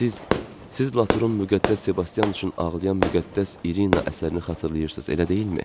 Siz, siz Latrun müqəddəs Sebastian üçün ağlayan müqəddəs İrina əsərini xatırlayırsız, elə deyilmi?